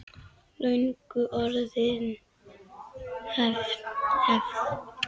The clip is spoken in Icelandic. Löngu orðin hefð.